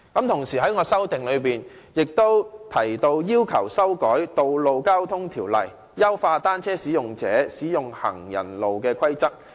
同時，我的修正案亦提到要求修改《道路交通條例》，以優化單車使用者使用行人路的規則。